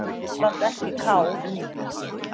Samt ekki kál.